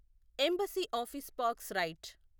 embassy office parks right